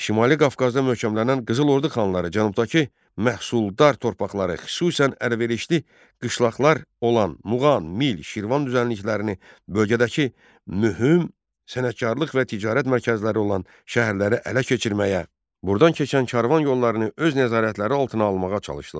Şimali Qafqazda möhkəmlənən Qızıl Ordu xanları cənubdakı məhsuldar torpaqları, xüsusən əlverişli qışlaqlar olan Muğan, Mil, Şirvan düzənliklərini, bölgədəki mühüm sənətkarlıq və ticarət mərkəzləri olan şəhərləri ələ keçirməyə, buradan keçən karvan yollarını öz nəzarətləri altına almağa çalışdılar.